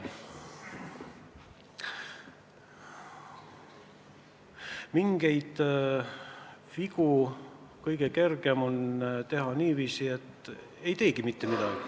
Vigu on kõige kergem vältida niiviisi, et ei tee mitte midagi.